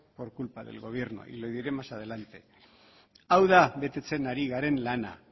por culpa del gobierno y lo diré más adelante hau da betetzen ari garen lana